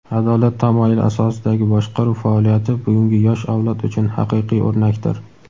adolat tamoyili asosidagi boshqaruv faoliyati bugungi yosh avlod uchun haqiqiy o‘rnakdir!.